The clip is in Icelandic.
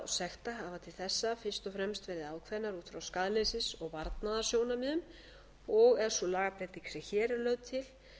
sekta hafa til þessa fyrst og fremst verið ákveðnar út frá skaðleysis og varnaðarsjónarmiðum og er sú lagabreyting sem hér er lögð til